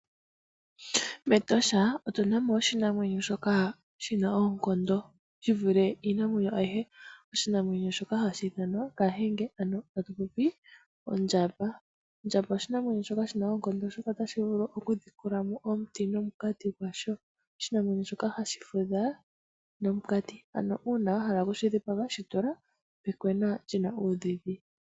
MEtosha otu na mo oshinamwenyo shoka shi na oonkondo shi vule iinamwenyo ayihe. Oshinamwenyo shoka hashi ithanwa kahenge, ano haku ti ondjamba. Ondjamba oshinamwenyo shoka shina oonkondo, oshoka otashi vulu okudhikulamo omuti nomunkati gwasho, oshinamwenyo shoka hashi fudha nomunkati. Ano uuna wa hala oku shi dhipaga, shi tula pekwena lyi na uudhidhi.